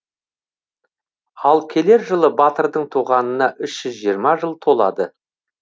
ал келер жылы батырдың туғанына үш жүз жиырма жыл толады